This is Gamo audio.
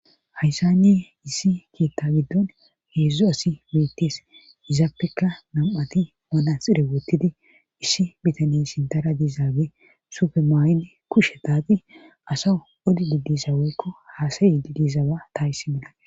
Hayssanne issi keeththa giddon heedzdzo asi beettees izaappeka nam7ati manaxire wottidi issi bitaneye sintara diizaage sufemaay7idi kushe taati asa odi didisa woykko haasayi didizawa ta hayssan be'ays.